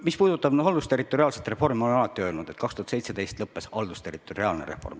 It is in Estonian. Mis puudutab haldusterritoriaalset reformi, siis ma olen alati öelnud, et haldusterritoriaalne reform lõppes 2017.